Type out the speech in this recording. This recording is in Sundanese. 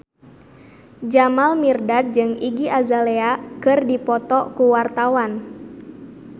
Jamal Mirdad jeung Iggy Azalea keur dipoto ku wartawan